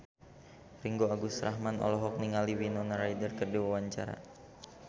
Ringgo Agus Rahman olohok ningali Winona Ryder keur diwawancara